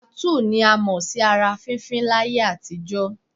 Tàtúù ni a mọ̀ sí ara fífín láyé àtijọ́